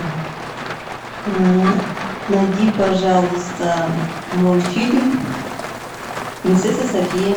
найди пожалуйста мультфильм принцесса софия